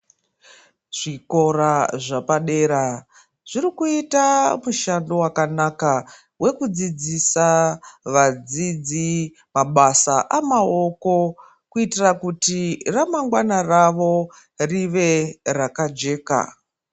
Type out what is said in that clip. Zvikora zvepadera zvirikuita mushando wakanaka , wekudzidzisa vadzidzi mabasa amaoko kuitira kuti ramangwana ravo rive rakajeka.